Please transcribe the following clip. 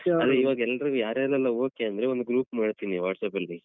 ಅದೇ ಈವಾಗ ಎಲ್ರು ಯಾರ್ ಯಾರೆಲ್ಲ okay ಅಂದ್ರೆ ಒಂದ್ group ಮಾಡ್ತೀನಿ WhatsApp ಅಲ್ಲಿ.